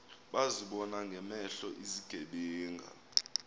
bazibona ngamehlo izigebenga